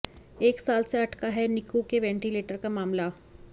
एक साल से अटका है निक्कू के वेंटीलेटर का मामला